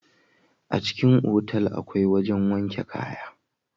A cikin otal akwai wajen wanke kaya